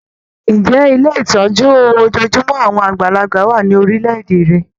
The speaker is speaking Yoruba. Ǹjẹ́ Ilé ìtọ́jú ojojúmọ́ àwọn àgbàlagbà wà ní orílẹ̀-èdè rẹ?